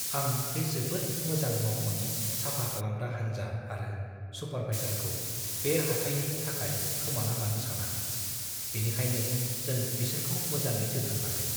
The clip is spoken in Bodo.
आं बे जोबोद मोजां मावख'नि साफा खालामग्रा हान्जा आरो सुपारभाइजारखौ बे हाथाइनि थाखाय खोमाना लानो साना। बेनिखायनो जों बिसोरखौ मोजाङै जोथोन लागोन।